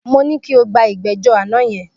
Mo ní kí o gba ìgbẹ́jọ́ àná yẹn.